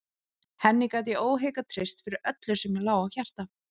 Henni gat ég óhikað treyst fyrir öllu því sem mér lá á hjarta.